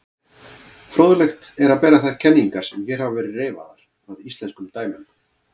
Fróðlegt er að bera þær kenningar sem hér hafa verið reifaðar að íslenskum dæmum.